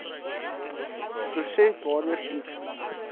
proses waardeur iets